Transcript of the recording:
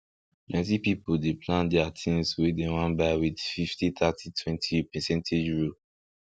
plenty pipu dey plan their tins wey dem wan buy with fifty thirty twenty percentage rule